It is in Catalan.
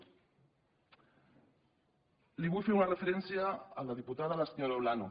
li vull fer una referència a la diputada senyora olano